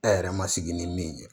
E yɛrɛ ma sigi ni min ye